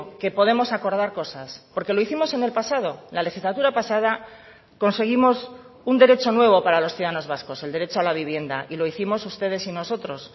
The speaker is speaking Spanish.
que podemos acordar cosas porque lo hicimos en el pasado la legislatura pasada conseguimos un derecho nuevo para los ciudadanos vascos el derecho a la vivienda y lo hicimos ustedes y nosotros